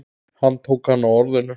Hann tók hana á orðinu.